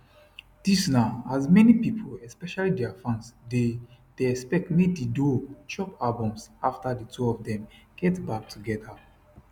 dis na as many pipo especially dia fans dey dey expect make di duo drop albums afta di two of dem get back togeda